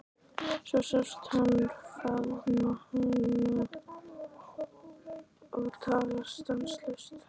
Svo sást hann faðma hana og tala stanslaust.